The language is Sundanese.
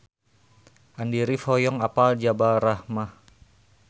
Andy rif hoyong apal Jabal Rahmah